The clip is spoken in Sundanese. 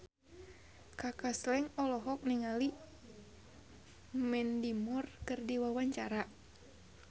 Kaka Slank olohok ningali Mandy Moore keur diwawancara